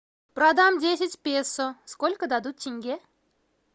продам десять песо сколько дадут тенге